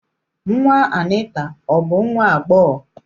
Nwa Anita ọ bụ nwa agbọghọ?